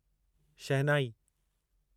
शहनाई